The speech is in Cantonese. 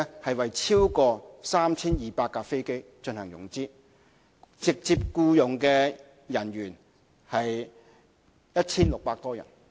即是為超過 3,200 架飛機進行融資，直接僱用人員有 1,600 多人。